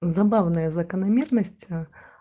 забавная закономерность